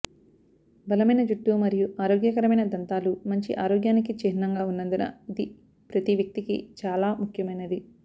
బలమైన జుట్టు మరియు ఆరోగ్యకరమైన దంతాలు మంచి ఆరోగ్యానికి చిహ్నంగా ఉన్నందున ఇది ప్రతి వ్యక్తికి చాలా ముఖ్యమైనది